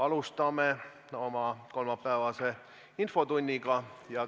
Alustame oma kolmapäevast infotundi.